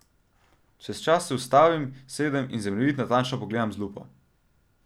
Čez čas se ustavim, sedem in zemljevid natančno pregledam z lupo.